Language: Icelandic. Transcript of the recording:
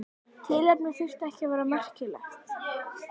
Tilefnið þurfti ekki að vera merkilegt.